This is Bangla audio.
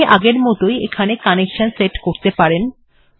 আপনি আগেরমত ই একইভাবে কানেকশন্ সেট বা সংযোগ ব্যবস্থা স্থাপন করতে পারেন